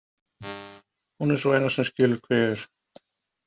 Hún er sú eina sem skilur hver ég er.